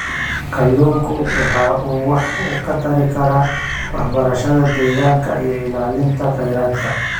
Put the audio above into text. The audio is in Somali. Kalluunku waxa uu wax ka tari karaa waxbarashada deegaanka iyo ilaalinta kheyraadka.